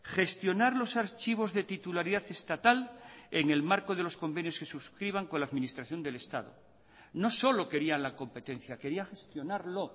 gestionar los archivos de titularidad estatal en el marco de los convenios que suscriban con la administración del estado no solo querían la competencia quería gestionarlo